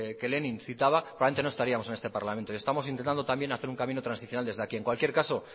que lenin citaba probablemente no estaríamos en este parlamento y estamos intentando también hacer un camino transicional también desde aquí en cualquier caso